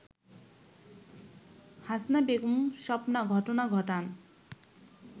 হাসনা বেগম স্বপ্না ঘটনা ঘটান